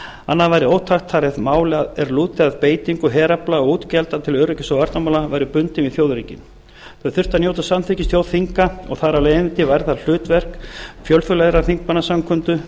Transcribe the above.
annað væri ótækt það er mál er lúta að beitingu herafla og útgjalda til öryggis og varnarmála væru bundin við þjóðaröryggi þau þyrftu að njóta samþykkis þjóðþinga og þar af leiðandi væri það hlutverk fjölþjóðlegrar þingmannasamkundu